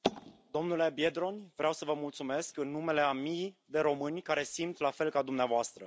Domnule Biedroń, vreau să vă mulțumesc în numele a mii de români care simt la fel ca dumneavoastră.